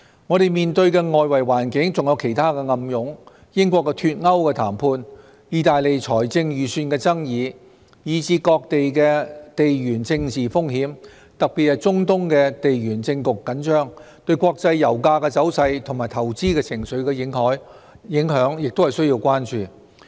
我們面對的外圍環境還有其他暗湧——英國"脫歐"談判、意大利財政預算的爭議，以至各地的地緣政治風險，特別是中東地緣政局緊張，對國際油價走勢和投資情緒的影響，也須關注。